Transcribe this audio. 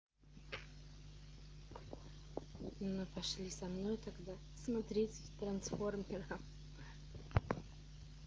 ну пошли со мной тогда смотреть трансформеров